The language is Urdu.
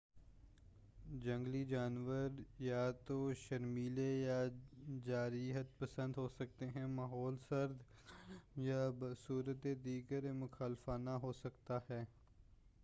جنگلی جانور یا تو شرمیلے یا جارحیت پسند ہو سکتے ہیں ماحول سرد گرم یا بصورتِ دیگر مخالفانہ ہو سکتا ہے